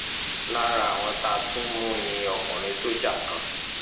lára àwọn tá a tún mú ni ọkùnrin sójà kan